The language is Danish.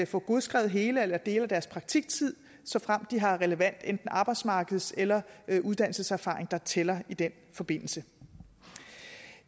få godskrevet hele eller dele af deres praktiktid såfremt de har relevant enten arbejdsmarkeds eller uddannelseserfaring der tæller i den forbindelse